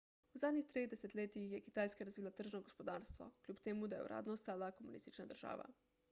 v zadnjih treh desetletjih je kitajska razvila tržno gospodarstvo kljub temu da je uradno ostala komunistična država